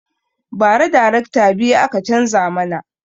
Ba ra darekta biyu aka canza mana